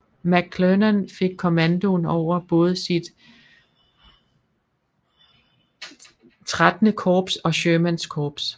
McClernand fik kommandoen over både sit XIII Korps og Shermans korps